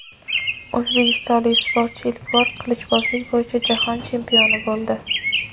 O‘zbekistonlik sportchi ilk bor qilichbozlik bo‘yicha jahon chempioni bo‘ldi.